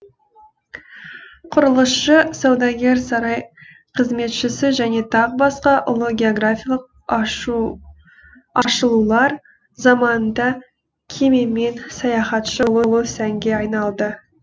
құрылысшы саудагер сарай қызметшісі және тағы басқа ұлы географиялық ашылулар заманында кемемен саяхатшы болу сәнге айналды